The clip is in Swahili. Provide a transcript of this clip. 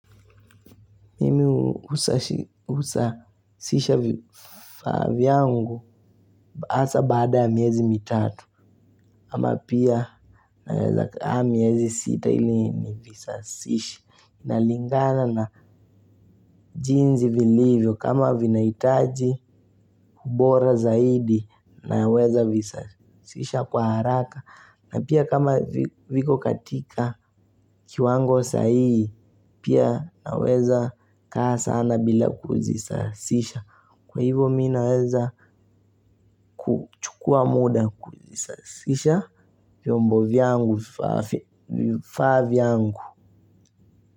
Mimi husasisha vifaa vyangu hasa baada ya miezi mitatu. Ama pia nawezakaa miezi sita ili nivisasishe. Inalingana na jinsi vilivyo. Kama vinahitaji ubora zaidi naweza visasisha kwa haraka. Na pia kama viko katika kiwango saii. Pia naweza kaa sana bila kuzisasisha. Kwa hivo mi naweza kuchukua muda kuzisazisha. Vyombo vyangu, vifaa vyangu.